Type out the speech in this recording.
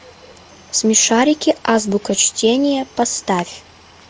смешарики азбука чтения поставь